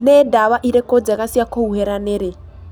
nĩ ndawa ĩrĩkũ njega cia kũhũhĩra nĩrĩ